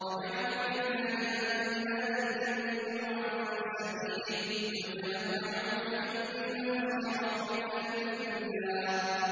وَجَعَلُوا لِلَّهِ أَندَادًا لِّيُضِلُّوا عَن سَبِيلِهِ ۗ قُلْ تَمَتَّعُوا فَإِنَّ مَصِيرَكُمْ إِلَى النَّارِ